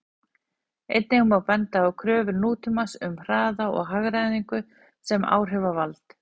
Einnig má benda á kröfur nútímans um hraða og hagræðingu sem áhrifavald.